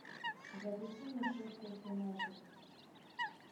запусти мне шеффилд юнайтед